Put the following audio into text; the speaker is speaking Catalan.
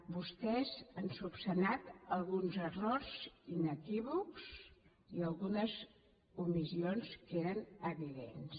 vostès han esmenat alguns errors inequívocs i algunes omissions que eren evidents